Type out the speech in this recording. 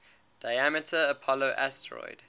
diameter apollo asteroid